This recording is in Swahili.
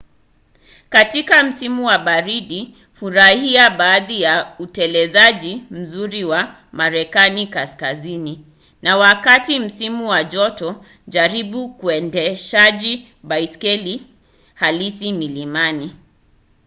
katika msimu wa baridi furahia baadhi ya utelezaji mzuri wa marekani kaskazini na katika msimu wa joto jaribu uendeshaji baiskeli halisi milimani